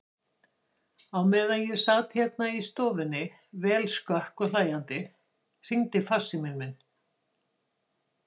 Á meðan ég sat hérna í stofunni, vel skökk og hlæjandi, hringdi farsíminn minn.